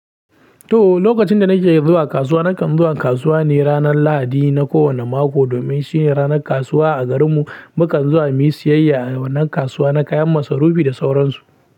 To, lokacin da nake zuwa kasuwa, nakan zuwa kasuwa ne ranar Lahadi na kowane mako domin shine ranar kasuwa a garinmu. Mukan zuwa muyi siyayya a wannan kasuwa na kayan masarufi da sauransu.